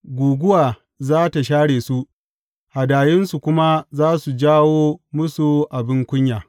Guguwa za tă share su, hadayunsu kuma za su jawo musu abin kunya.